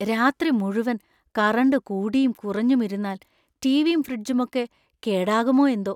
രാത്രി മുഴുവൻ കറണ്ട് കൂടീം കുറഞ്ഞും ഇരുന്നാല്‍, റ്റീവീം ഫ്രിജ്ജുമൊക്കെ കേടാകുമോയെന്തോ!